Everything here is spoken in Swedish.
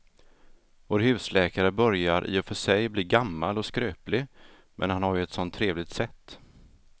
Vår husläkare börjar i och för sig bli gammal och skröplig, men han har ju ett sådant trevligt sätt!